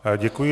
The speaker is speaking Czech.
Děkuji.